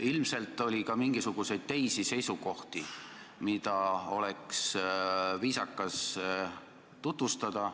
Ilmselt oli ka mingisuguseid teisi seisukohti, mida oleks viisakas tutvustada.